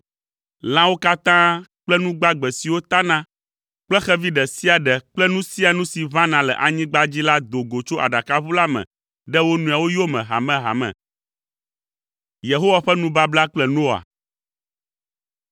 Lãawo katã kple nu gbagbe siwo tana kple xevi ɖe sia ɖe kple nu sia nu si ʋãna le anyigba dzi la do go tso aɖakaʋu la me ɖe wo nɔewo yome hamehame.